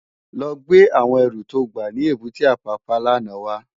Lò gbé áwòn èrú tó gbá ni ébùté Apapa làná wá